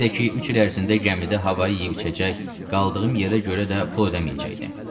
Bir də ki, üç il ərzində gəmidə havayı yeyib-içəcək, qaldığım yerə görə də pul ödəməyəcəkdim.